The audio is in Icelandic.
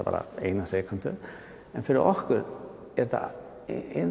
bara ein sekúnda en fyrir okkur er þetta